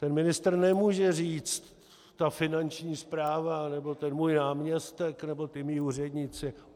Ten ministr nemůže říct: Ta Finanční správa nebo ten můj náměstek nebo ti mí úředníci.